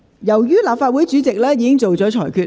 由於立法會主席已作出裁決......